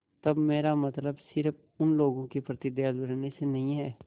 तब मेरा मतलब सिर्फ़ उन लोगों के प्रति दयालु रहने से नहीं है